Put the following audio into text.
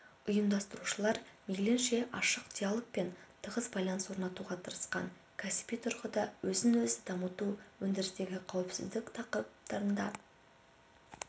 ұйымдастырушылар мейлінше ашық диалог пен тығыз байланыс орнатуға тырысқан кәсіби тұрғыда өзін-өзі дамыту өндірістегі қауіпсіздік тақырыптарында